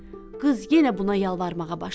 Qız yenə buna yalvarmağa başladı.